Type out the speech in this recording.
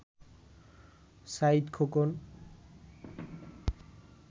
Saeed Khokon